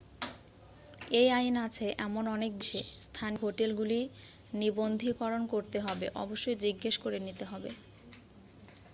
এই আইন আছে এমন অনেক দেশে স্থানীয় হোটেলগুলি নিবন্ধীকরণ করতে হবে অবশ্যই জিজ্ঞেস করে নিতে হবে